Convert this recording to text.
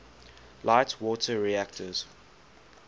light water reactors